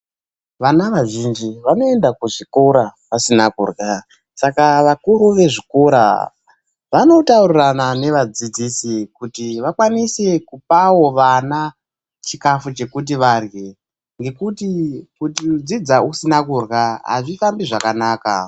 Vana vazhinji vanoenda kuzvikora vasina kurya, saka vakuru vezvikora vanotaurirana nevadzidzisi kuti vakwanise kupawo vana chikafu chekuti varye ngekuti kudzidza usina kurya azvifambi zvakanaka.